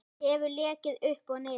Hef leikið upp og niður.